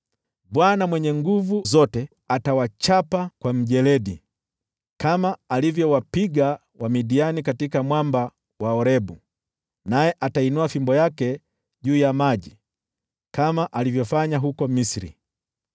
Bwana Mwenye Nguvu Zote atawachapa kwa mjeledi, kama alivyowapiga Wamidiani katika mwamba wa Orebu, naye atainua fimbo yake juu ya maji, kama alivyofanya huko Misri.